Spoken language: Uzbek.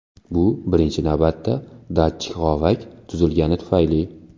Bu birinchi navbatda datchik g‘ovak tuzilgani tufayli.